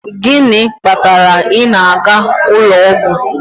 Gịnị kpatara ị na-aga ụlọ ọgwụ?